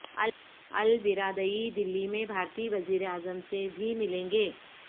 ElBaradei Delhi میں بھارتی وزیراعظم سے بھی ملیں گے